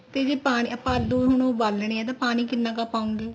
ਤੇ ਜੇ ਪਾਣੀ ਆਪਾਂ ਦੋ ਨੂੰ ਉਬਾਲਣੇ ਏ ਤਾਂ ਪਾਣੀ ਕਿੰਨਾ ਕ ਪਾਉਗੇ